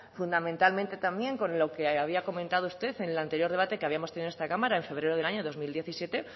fundamentalmente también con lo que había comentado usted en el anterior debate que habíamos tenido en esta cámara en febrero del año dos mil diecisiete